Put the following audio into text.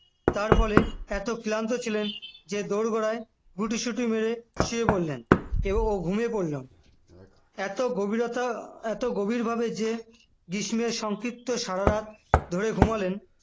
তারপরে এত ক্লান্ত ছিলেন যে দোরগোড়ায় গুটিসুটি মেরে শুয়ে পড়লেন এবং ও ঘুমিয়ে পড়লেন এত গভীরতা এত গভীরভাবে যে গ্রীষ্মের সংক্ষিপ্ত সারারাত ধরে ঘুমালেন